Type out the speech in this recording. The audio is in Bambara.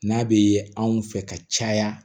N'a bɛ anw fɛ ka caya